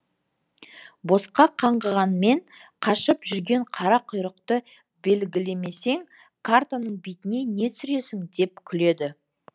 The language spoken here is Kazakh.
босқа қаңғығанмен қашып жүрген қара құйрықты белгілемесең картаның бетіне не түсіресің деп күледі